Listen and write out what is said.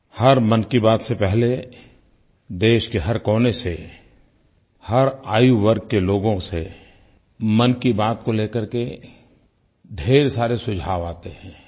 हर मन की बात से पहले देश के हर कोने से हर आयु वर्ग के लोगों से मन की बात को ले करके ढ़ेर सारे सुझाव आते हैं